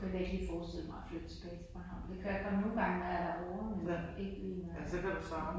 Jeg kunne virkelig ikke forestille mig at flytte tilbage til Bornholm. Det kan jeg kun nogengange, når jeg er derovre men ikke lige når jeg er